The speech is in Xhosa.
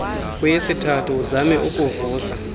kweyesithathu uzame ukuvusa